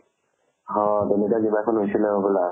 অ তেনেকুৱা কিবা এখন হৈছিলে হবলা